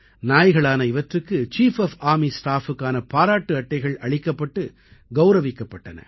நாய்களான இவற்றுக்கு chief of army staff க்கான பாராட்டு அட்டைகள் அளிக்கப்பட்டு கௌரவிக்கப்பட்டன